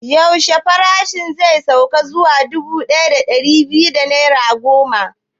Yaushe farashin zai sauka zuwa dubu ɗaya da ɗari biyar da naira goma?